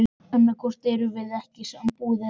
Annaðhvort erum við í sambúð eða ekki.